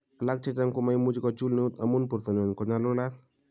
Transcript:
"Alak chechang komoimuchi kochul neut amun bortanywan konyalulat."